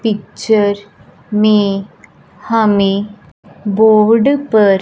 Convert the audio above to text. picture में हमें board पर--